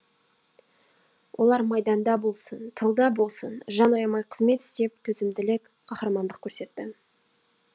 олар майданда болсын тылда болсын жан аямай қызмет істеп төзімділік қаһармандық көрсетті